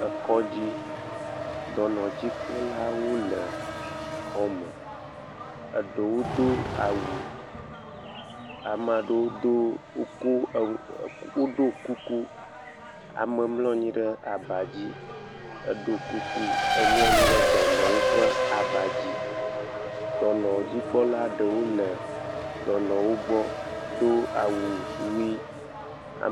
Ekɔdzi. Dɔnɔdzikpɔla le xɔ me. Eɖewo do awu wokɔ, woɖɔ ke kuku. Ame mlɔ anyi ɖe gbã dzi. Dɔnɔdzikpɔla ɖewo le dɔnɔ wògbɔ, Do awu ɣi